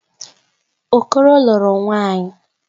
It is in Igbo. Okoro lụrụ nwaanyị.